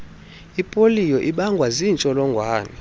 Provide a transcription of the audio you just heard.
ipoliyo ibangwa ziintsholongwane